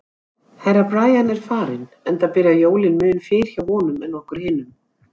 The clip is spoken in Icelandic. Herra Brian er farinn, enda byrja jólin mun fyrr hjá honum en okkur hinum.